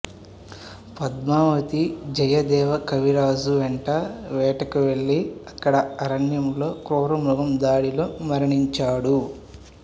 పద్మావతి జయదేవ కవి రాజు వెంట వేటకి వెళ్ళి అక్కడ అరణ్యంలో క్రూరమ్రుగం దాడి లో మరణించాడు